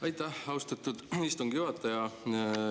Aitäh, austatud istungi juhataja!